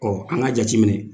Ɔɔ an ka jateminɛ.